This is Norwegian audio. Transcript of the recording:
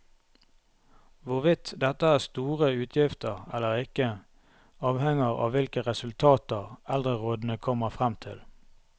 Hvorvidt dette er store utgifter eller ikke, avhenger av hvilke resultater eldrerådene kommer frem til.